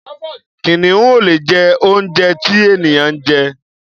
Kìnìún ò lè jẹ oúnjẹ tí ènìyàn ń jẹ.